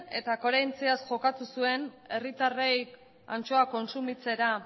eta koherentziaz jokatu zuen herritarrei antxoa kontsumitzera